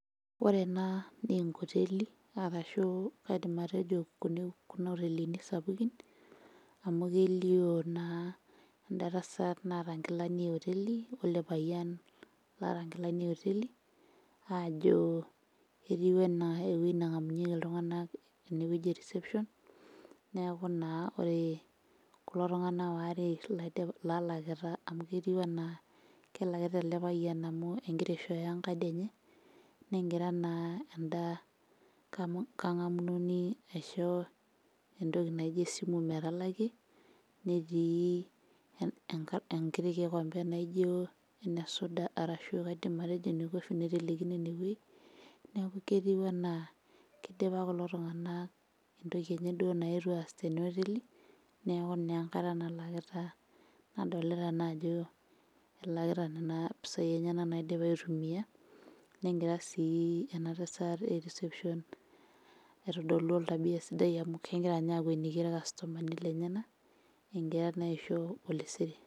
Ore ena nenkoteli arashu kaidim atejo kuna otelini sapukin amu kelio naa enda tasat naata nkilani e oteli wele payian loata inkilani e oteli aajo etiu enaa ewueji nang'amunyieki iltung'anak enewueji e reception neeku naa ore kulo tung'anak ware laidipa lalakita amu ketiu anaa kelakita ele payian amu enkira aishooyo enkadi enye negira naa enda kang'amunoni aisho entoki naijio esimu metalakie netii enk enkiti kikombe naijio ene suda arashu kaidim atejo ene coffee naitelekino enewueji neku ketiu enaa kidipa kulo tung'anak entoki enye duo naetuo aas tena oteli neku naa enkata nalakita nadolita naa ajo elakita nena pisai enyenak naidipa aitumia negira sii ena tasat e reception aitodolu oltabia sidai amu kengira ninye aaku akweniyie irkastomani lenyena enkira naa aisho olesere.